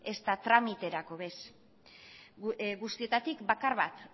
ezta tramiterako ez guztietatik bakar bat